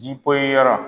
Ji poyi yɔrɔ